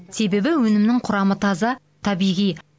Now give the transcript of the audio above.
себебі өнімнің құрамы таза табиғи